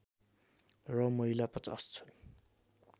र महिला ५० छन्